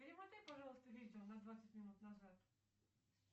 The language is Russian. перемотай пожалуйста видео на двадцать минут назад